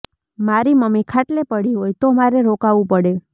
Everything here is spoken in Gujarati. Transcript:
મારી મમ્મી ખાટલે પડી હોય તો મારે રોકાવું પડે